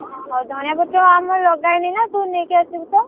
ହଉ ଧଣିଆ ପତ୍ର ଆମର ଲଗାହେଇନିନା ତୁ ନେଇକି ଆସିବୁତ।